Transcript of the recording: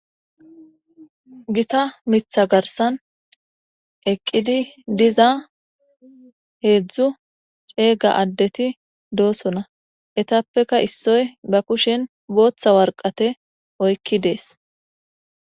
Gita Mitha garsan eqidi diza hedzu c'ega adeti de'osona etapeka isoy kushen bota woraqate oykidese.